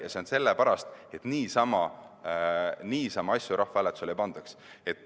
See on nii sellepärast, et niisama asju rahvahääletusele ei pandaks.